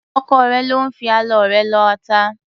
Ọkọ rẹ ló ń fi ọlọ rẹ lọ ata.